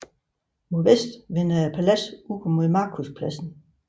Mod vest vender paladset ud mod Markuspladsen